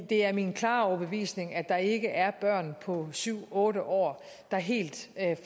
det er min klare overbevisning at der ikke er børn på syv otte år der helt